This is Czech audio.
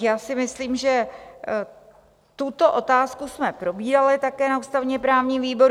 Já si myslím, že tuto otázku jsme probírali také na ústavně-právním výboru.